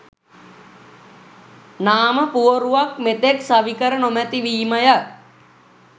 නාම පුවරුවක් මෙතෙක් සවිකර නොමැතිවීමය.